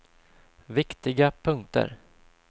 viktiga punkter